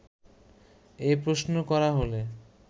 এ প্রশ্ন করা হলে